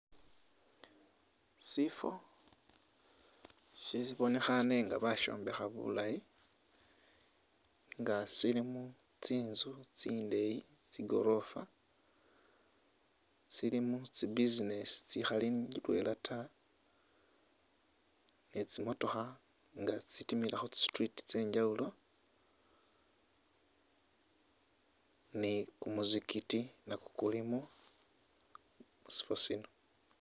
sifo shibonekhane nga bashombekha bulayi nga shilimu tsinzu tsindeyi tsigorofa shilimu business tsikhali idwela ta ni tsimootokha nga tsitimila khu street tsengyawulo ni kumuzigiti nakwo kulimo mushifo shino.